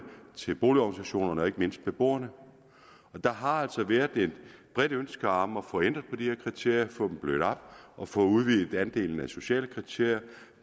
til boligorganisationerne og ikke mindst beboerne og der har altså bredt været et ønske om at få ændret på de her kriterier få dem blødt op og få udvidet andelen af sociale kriterier